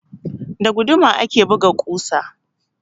Da guduma ake buga ƙusa.